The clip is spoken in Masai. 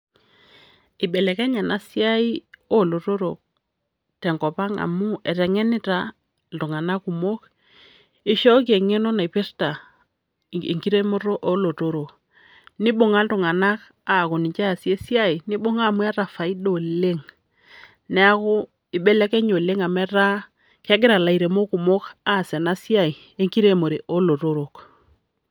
Eibelekenya ena siai olotorok tenkopang' amu eteng'enita iltung'anak kumok, eishooki eng'eno naipirta enkiremoto oolotorok. Nibung'a iltung'anak aaku ninye eesie esiai, nibunga amu eeta faida oleng'.Neeku eibelekenya oleng' amu eta kegira lairemok kumok aas ena siai enkiremore olotorok.